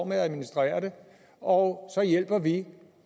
med at administrere det og så hjælper vi